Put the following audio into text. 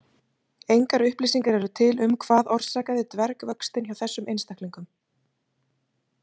Engar upplýsingar eru til um hvað orsakaði dvergvöxtinn hjá þessum einstaklingum.